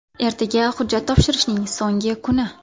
Ertaga hujjat topshirishning so‘nggi kuni.